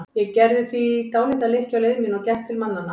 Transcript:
Ég gerði því dálitla lykkju á leið mína og gekk til mannanna.